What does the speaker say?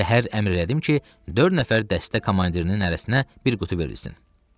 Səhər əmr elədim ki, dörd nəfər dəstə komandirinin hərəsinə bir qutu verilsin.